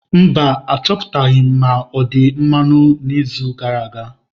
Mba, Achọpụtaghị m ma ọ̀ dị mmanụ n'izu gara aga.